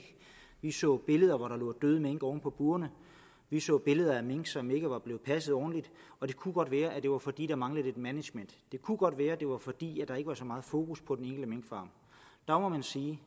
vi så billeder hvor der lå døde mink oven på burene vi så billeder af mink som ikke var blevet passet ordentligt og det kunne godt være at det var fordi der manglede lidt management det kunne godt være at det var fordi der ikke var så meget fokus på den enkelte minkfarm der må man sige